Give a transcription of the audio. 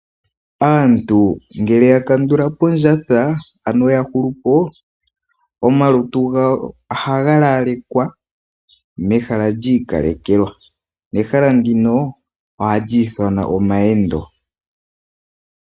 Aantu ngele yakandula po ondjatha ano yahulu po omalutu gawo ohaga lalekwa mehala lyiikalekelwa, nehala ndino ohali ithanwa omawendo.